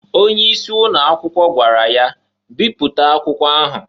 Onye isi ụnọ akwụkwọ gwara ya, "Biputa akwụkwa ahu!"